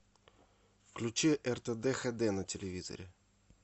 включи ртд хд на телевизоре